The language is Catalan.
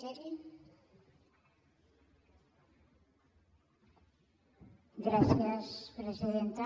gràcies presidenta